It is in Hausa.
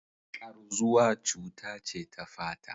Ƙarzuwa cuta ce ta fata.